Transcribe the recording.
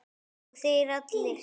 Og þeir allir!